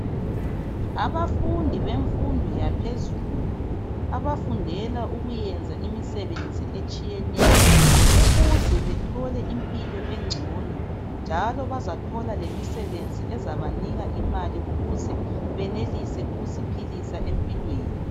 Abafundi bemfundo yaphezulu abafundela ukuyenza imisebenzi etshiyeneyo ukuze bethole impilo engcono njalo bazathola lemisebenzi ezabanika imali ukuze benelise ukuziphilisa empilweni.